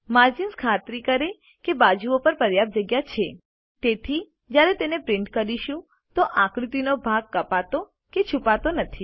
margins ખાતરી કરે કે બાજુઓ પર પર્યાપ્ત જગ્યા છે તેથી જયારે તેને પ્રિન્ટ કરીશું તો આકૃતિનો ભાગ કપાતો કે છુપાતો નથી